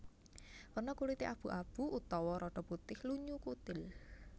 Werna kulité abu abu utawa rada putih lunyu kutil